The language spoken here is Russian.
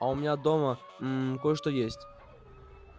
а у меня дома мм кое-что есть